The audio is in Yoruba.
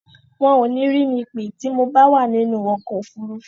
Wọ́n ò ní rí mi pè tí mo bá wà nínú ọkọ̀ òfurufú.